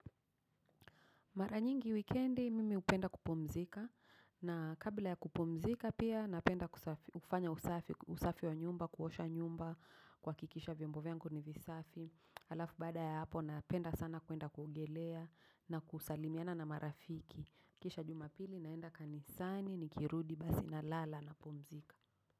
Mara nyingi wikendi mimi upenda kupumzika na kabla ya kupumzika pia napenda kufanya usafi wa nyumba, kuosha nyumba kwa kihakikisha vyombo vyangu ni visafi. Alafu bada ya hapo napenda sana kuenda kuogelea na kusalimiana na marafiki. Kisha jumapili naenda kanisani, nikirudi basi nalala na pumzika.